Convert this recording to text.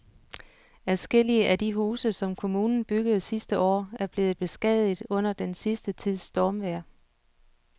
Adskillige af de huse, som kommunen byggede sidste år, er blevet beskadiget under den sidste tids stormvejr.